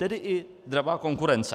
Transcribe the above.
Tedy i dravá konkurence.